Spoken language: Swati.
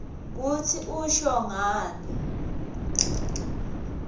kutsi usho ngani